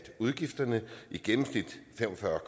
udgifterne i gennemsnit fem og fyrre